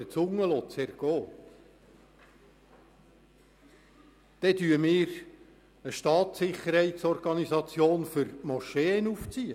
Demzufolge werden wir eine Staatssicherheitsorganisation für die Moscheen aufziehen.